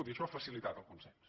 i ai· xò ha facilitat el consens